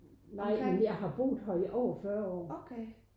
Nej men jeg har boet her i over 40 år